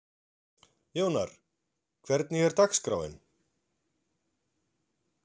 Jónar, hvernig er dagskráin?